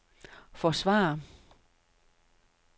forsvare